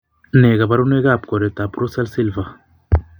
Nee kabarunoikab koroitoab Russell Silver?